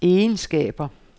egenskaber